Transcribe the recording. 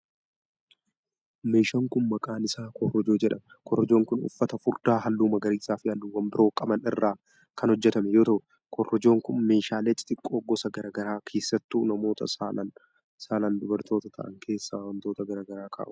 Meeshaan kun, maqaan isaa korojoo jedhama. Korojoon kun uffata furdaa halluu magariisa fi halluuwwan biroo qaban irraa kan hojjatame yoo ta'u, korojoon kun meeshaalee xixiqqoo gosa garaa garaa keessattuu namoota saalan dubartoota ta'an keessa wantoota garaagaraa kaa'uuf fayyada.